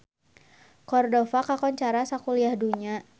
Cordova kakoncara sakuliah dunya